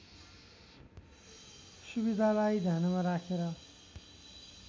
सुविधालाई ध्यानमा राखेर